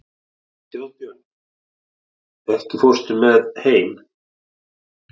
Þjóðbjörn, ekki fórstu með þeim?